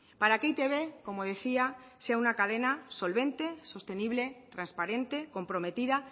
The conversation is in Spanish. para que e i te be como decía sea una cadena solvente sostenible transparente comprometida